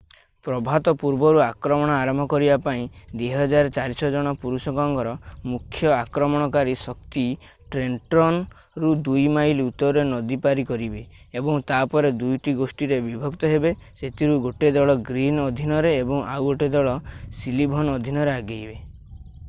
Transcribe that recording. ପ୍ରଭାତ ପୂର୍ବରୁ ଆକ୍ରମଣ ଆରମ୍ଭ କରିବା ପାଇଁ 2,400 ଜଣ ପୁରୁଷଙ୍କର ମୁଖ୍ୟ ଆକ୍ରମଣକାରୀ ଶକ୍ତି ଟ୍ରେଣ୍ଟନ୍ର ରୁ 9 ମାଇଲ ଉତ୍ତରରେ ନଦୀ ପାରି କରିବେ ଏବଂ ତାପରେ 2 ଟି ଗୋଷ୍ଠୀରେ ବିଭକ୍ତ ହେବେ ସେଥିରୁ 1 ଦଳ ଗ୍ରୀନ୍ ଅଧୀନରେ ଏବଂ ଆଉ 1 ଦଳ ସଲିଭନ୍ ଅଧୀନରେ ଆଗେଇବେ